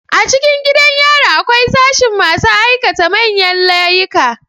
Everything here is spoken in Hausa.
A cikin gidan yari akwai sashin masu aikata manyan layika